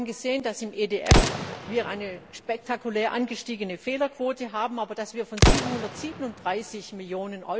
Wir haben gesehen, dass wir im EDF eine spektakulär angestiegene Fehlerquote haben, aber dass wir von 737 Mio.